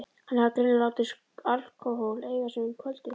Hann hafði greinilega látið alkóhól eiga sig um kvöldið.